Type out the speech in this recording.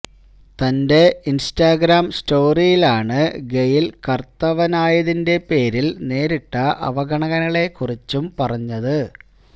തന്റെ ഇന്സ്റ്റഗ്രാം സ്റ്റോറിയിലാണ് ഗെയ്ല് കറുത്തവനായതിന്റെ പേരില് നേരിട്ട അവഗണനകളെ കുറിച്ചും പറഞ്ഞത്